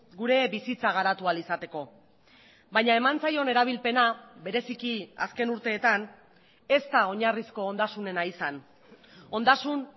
gure bizitza garatu ahal izateko baina eman zaion erabilpena bereziki azken urteetan ez da oinarrizko ondasunena izan ondasun